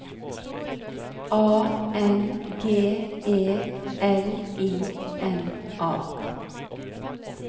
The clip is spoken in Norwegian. A N G E L I N A